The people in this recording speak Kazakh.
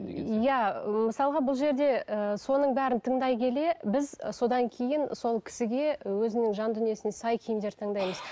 иә ы мысалға бұл жерде ыыы соның бәрін тыңдай келе біз содан кейін сол кісіге өзінің жан дүниесіне сай киімдер таңдаймыз